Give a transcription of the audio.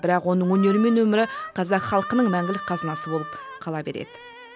бірақ оның өнері мен өмірі қазақ халқының мәңгілік қазынасы болып қала береді